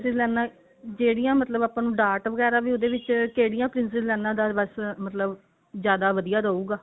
princess ਲਾਈਨਾ ਜਿਹੜੀਆਂ ਮਤਲਬ ਆਪਾਂ ਨੂੰ ਡਾਟ ਵਗੇਰਾ ਵੀ ਉਹਦੇ ਵਿੱਚ ਕਿਹੜੀਆਂ princess Anne ਦਾ ਬੱਸ ਮਤਲਬ ਜਿਆਦਾ ਵਧੀਆ ਰਹੂਗਾ